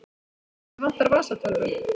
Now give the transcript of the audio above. Mig vantar vasatölvu.